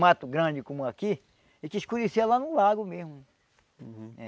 Mato grande como aqui, a gente escurecia lá no lago mesmo.